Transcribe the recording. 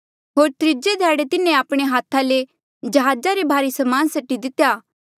होर त्रीजे ध्याड़े तिन्हें आपणे हाथा ले जहाजा रे भारी समान सटी दितेया